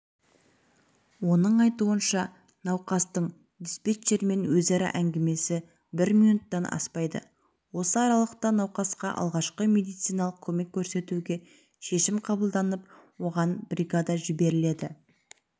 оның айтуынша науқастың диспетчермен өзара әңгімесі бір минуттан аспайды осы аралықта науқасқа алғашқы медициналық көмек көрсетуге шешім қабылданып оған бригада жіберіледі